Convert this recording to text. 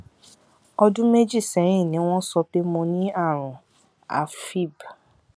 ọdún méjì sẹyìn ni wọn sọ pé mo ní àrùn afib